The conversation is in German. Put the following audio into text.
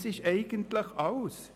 Das ist eigentlich alles.